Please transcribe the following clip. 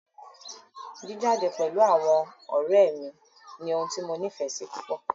Jíjade pẹ̀lú àwọn ọ̀rẹ́ mí ní ohun tí mo nífẹsí púpọ.